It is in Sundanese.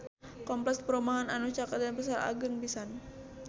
Kompleks perumahan anu caket Denpasar agreng pisan